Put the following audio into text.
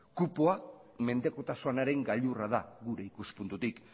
kupoa mendekotasunaren gailurra da gure ikuspuntutik